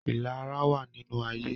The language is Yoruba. Ìlara wá nínú ayé.